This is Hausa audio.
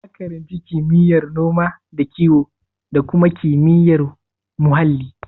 Ya karanci kimiyyar noma da kiwo ko kuma kimiyyar muhalli?